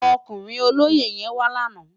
Ókúrin ólóyé yèn wá làná